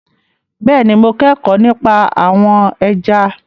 Bẹ́ẹ̀ni mo kẹ́kọ̀ọ́ nípa àwọn ẹja